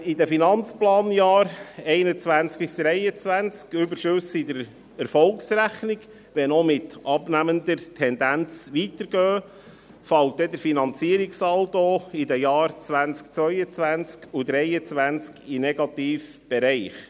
Während in den Finanzplanjahren 2021–2023 Überschüsse in der Erfolgsrechnung weitergehen, wenn auch mit abnehmender Tendenz, fällt der Finanzierungssaldo in den Jahren 2022 und 2023 in den negativen Bereich.